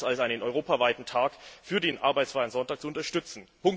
3. März als einen europaweiten Tag für den arbeitsfreien Sonntag zu unterstützen.